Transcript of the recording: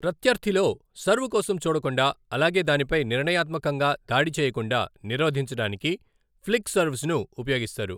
ప్రత్యర్థిలో serve కోసం చూడకుండా, అలాగే దానిపై నిర్ణయాత్మకంగా దాడి చేయకుండా నిరోధించడానికి ఫ్లిక్ సర్వ్స్ను ఉపయోగిస్తారు.